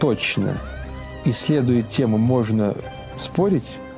точно исследуя тему можно спорить